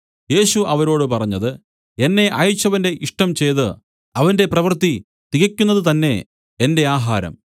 യേശു അവരോട് പറഞ്ഞത് എന്നെ അയച്ചവന്റെ ഇഷ്ടം ചെയ്തു അവന്റെ പ്രവൃത്തി തികയ്ക്കുന്നത് തന്നേ എന്റെ ആഹാരം